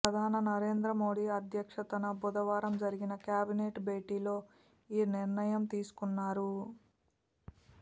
ప్రధాని నరేంద్ర మోదీ అధ్యక్షతన బుధవారం జరిగిన కేబినెట్ భేటీలో ఈ నిర్ణయం తీసుకున్నారు